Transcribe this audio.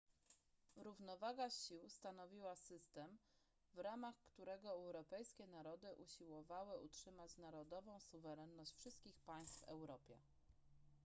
równowaga sił stanowiła system w ramach którego europejskie narody usiłowały utrzymać narodową suwerenność wszystkich państw w europie